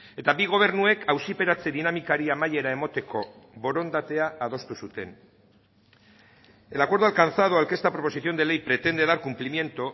eta bi gobernuek auziperatze dinamikari amaiera emateko borondatea adostu zuten el acuerdo alcanzado al que esta proposición de ley pretende dar cumplimiento